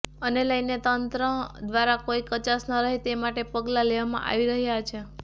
આને લઇને તંત્ર દ્વારા કોઇ કચાસ ન રહે તે માટે પગલા લેવામાં આવી રહ્યા છે